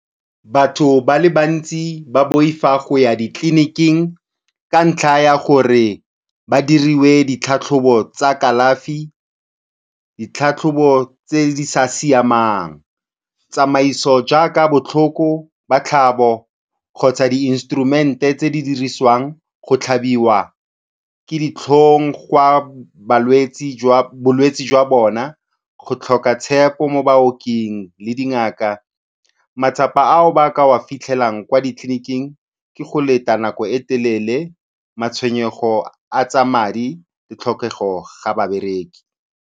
Batho ba le bantsi ba boifa go ya ditleliniking ka ntlha ya gore ba diriwe ditlhatlhobo tsa kalafi, ditlhatlhobo tse di sa siamang, tsamaiso jaaka botlhoko ba tlhabo kgotsa di instrument-e tse di dirisiwang, go tlhabiwa ke ditlhong gwa balwetsi jwa bolwetsi jwa bona, go tlhoka tshepo mo baoking le dingaka. Matsapa ao ba ka a fitlhelang kwa ditleliniking ke go leta nako e telele, matshwenyego a tsa madi, tlhokego ga babereki.